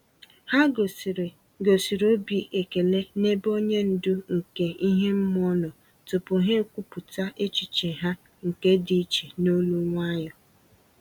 Ha gosịrị gosịrị obi ekele n'ebe onye ndu nke ihe mmụọ nọ tupu ha ekwupọta echiche ha nke dị iche n'olu nwayọ.